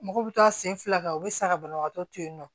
Mɔgɔw bɛ taa sen fila kan u bɛ sa ka banabagatɔ to yen nɔ